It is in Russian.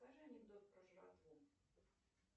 расскажи анекдот про жратву